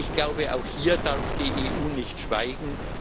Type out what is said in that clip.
Ich glaube, auch hier darf die EU nicht schweigen.